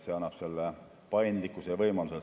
See annab paindlikkuse ja võimalused.